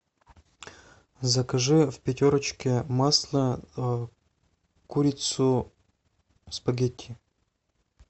закажи в пятерочке масло курицу спагетти